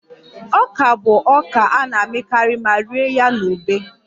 Ọka bụ ọka a na-amịkarị ma rie ya na ube